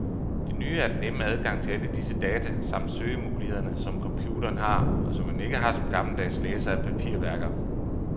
Det nye er den nemme adgang til alle disse data samt søgemulighederne, som computeren har, og som man ikke har som gammeldags læser af papirværker.